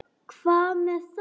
Hvað með það?